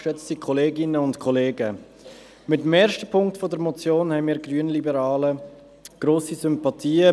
Für die erste Ziffer der Motion haben wir Grünliberale grosse Sympathien.